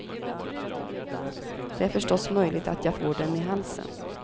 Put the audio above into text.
Det är förstås möjligt att jag får dem i halsen.